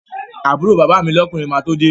Àbúrò bàbá mi lọ́kùnrin máa tó de